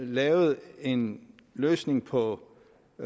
lavet en løsning på